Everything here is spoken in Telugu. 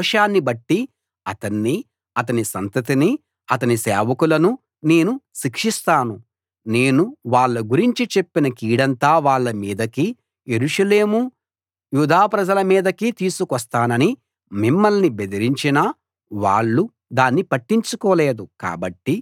వాళ్ళ దోషాన్ని బట్టి అతన్నీ అతని సంతతినీ అతని సేవకులనూ నేను శిక్షిస్తాను నేను వాళ్ళ గురించి చెప్పిన కీడంతా వాళ్ళ మీదకీ యెరూషలేము యూదా ప్రజల మీదకీ తీసుకొస్తానని మిమ్మల్ని బెదిరించినా వాళ్ళు దాన్ని పట్టించుకోలేదు